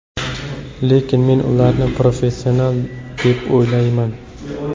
Lekin men ularni professional deb o‘ylamayman.